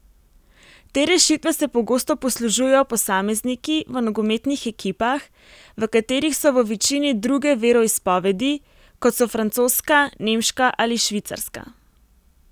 Te rešitve se pogosto poslužujejo posamezniki v nogometnih ekipah, v katerih so v večini druge veroizpovedi, kot so francoska, nemška ali švicarska.